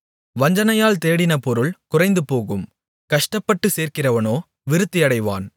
வஞ்சனையால் தேடின பொருள் குறைந்துபோகும் கஷ்டப்பட்டு சேர்க்கிறவனோ விருத்தியடைவான்